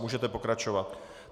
Můžeme pokračovat.